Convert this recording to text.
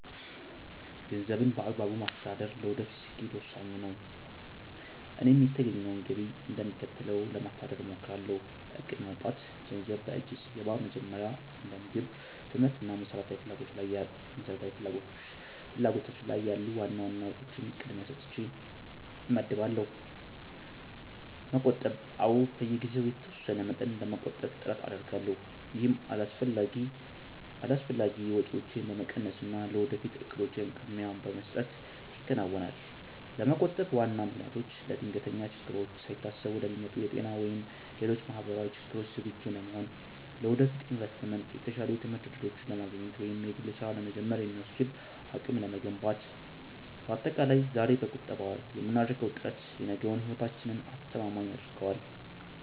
ገንዘብን በአግባቡ ማስተዳደር ለወደፊት ስኬት ወሳኝ ነው፤ እኔም የተገኘውን ገቢ እንደሚከተለው ለማስተዳደር እሞክራለሁ፦ እቅድ ማውጣት፦ ገንዘብ በእጄ ሲገባ መጀመሪያ እንደ ምግብ፣ ትምህርት እና መሰረታዊ ፍላጎቶች ያሉ ዋና ዋና ወጪዎችን ቅድሚያ ሰጥቼ እመድባለሁ። መቆጠብ፦ አዎ፣ በየጊዜው የተወሰነ መጠን ለመቆጠብ ጥረት አደርጋለሁ። ይህም አላስፈላጊ ወጪዎችን በመቀነስና ለወደፊት እቅዶች ቅድሚያ በመስጠት ይከናወናል። ለመቆጠብ ዋና ምክንያቶቼ፦ ለድንገተኛ ችግሮች፦ ሳይታሰቡ ለሚመጡ የጤና ወይም ሌሎች ማህበራዊ ችግሮች ዝግጁ ለመሆን። ለወደፊት ኢንቨስትመንት፦ የተሻሉ የትምህርት እድሎችን ለማግኘት ወይም የግል ስራ ለመጀመር የሚያስችል አቅም ለመገንባት። ባጠቃላይ፣ ዛሬ በቁጠባ የምናደርገው ጥረት የነገውን ህይወታችንን አስተማማኝ ያደርገዋል።